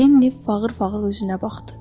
Lenni fağır-fağır üzünə baxdı.